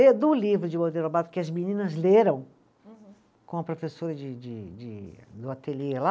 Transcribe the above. E do livro de Monteiro Lobato, que as meninas leram. Uhum. Com a professora de de de, do ateliê lá,